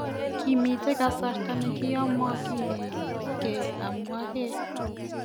Kimiten kasarta nekiomokinigei amwegei.